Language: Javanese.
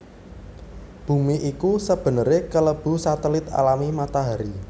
Bumi iku sebenere kelebu satelit alami Matahari